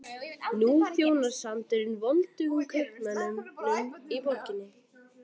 Nú þjónar sandurinn voldugum kaupmönnunum í borginni.